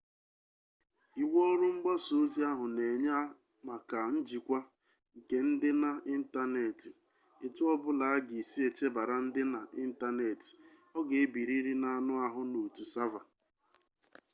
iwu ọrụ mgbasa ozi ahụ na-enye maka njikwa nke ndịna ịntaneetị etu ọ bụla a ga-esi echebara ndịna ịntaneetị ọ ga-ebirịrị n'anụ ahụ n'otu sava